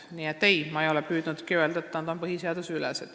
Nii et ei, ma ei ole püüdnudki öelda, nagu nad oleksid põhiseadusest üle.